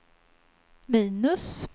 minus